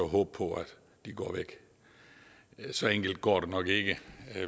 håbe på at de går væk så enkelt går det nok ikke